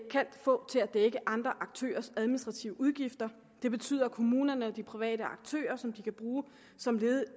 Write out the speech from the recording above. kan få til at dække andre aktørers administrative udgifter det betyder at kommunerne og de private aktører som de kan bruge som